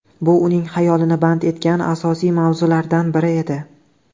Bu uning xayolini band etgan asosiy mavzulardan biri edi.